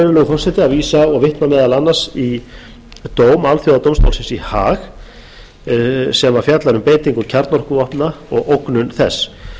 forseti að vísa og vitna meðal annars í dóm alþjóðadómstólsins í haag sem fjallar um beitingu kjarnorkuvopna og ógnun þess